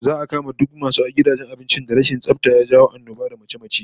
Za'a kama duk masu gidajen abincin da rashin tsafta ya jawo annoba da mace-mace